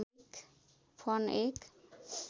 fern एक